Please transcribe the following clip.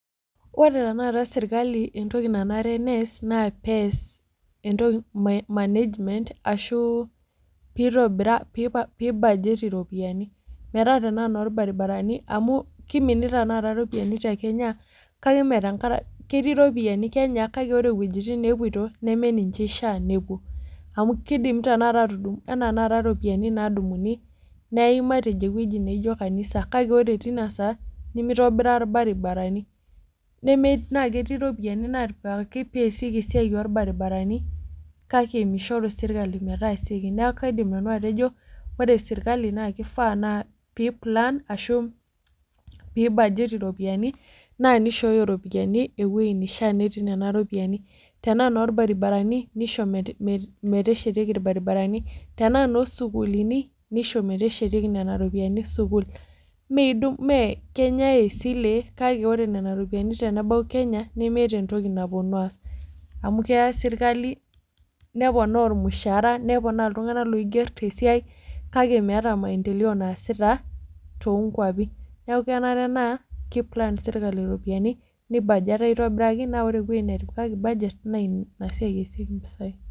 Oree tanakata serkali entoki nanare neyas naa pees entoki management arashuu pei budget iropiyiani metas tenaa inoorbaribarani amu keiminita tanakata iropiyiani tee Kenya kakee mee tenkaraki ketii iropiyiani Kenya kakee ore ewejitin neepoito neme ninche eishaa nepuo kedimi tanakata atudung' enaa tanakata iropiyiani naadunguni neyai matejo eweji neijo kanisa kake oree teina saa nemeitobirra irbarabarani naa ketii iropiyiani natipikaki peeyasieki esiai oorbarabarani kake meishoru serkali metaasieki neeku kaidim nanu atejo oree serikali naa keifaa pei plan arashu pei budget iropiyiani naa neishoyoo iroiyani ewei neishaa peeti nena ropiyiani tenaa inoorbararani neisho meteshetieki irbarabarani tenaa noo sukulini neisho meteshetieki nena ropiyiani sukul mee keinyae esile kake oree nena ropiyiani tenebau Kenya nemeeta entoki naponu aas amu kea serkalyi nepoonaa ormushaara nepoona iltung'anak loigerr tee siai kake meeta maentelepo naasaita toonkwapi neeku kenare naa kei plan serikali iropiyiani nei budget aitobiraki naa oree ewei netipikaki budget naa ina siai eesieki